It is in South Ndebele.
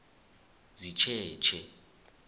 sitjetjhe